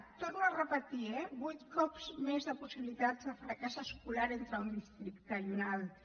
ho torno a repetir eh vuit cops més de possibilitats de fracàs escolar entre un districte i un altre